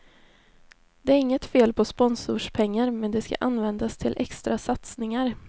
Det är inget fel på sponsorspengar, men de ska användas till extra satsningar.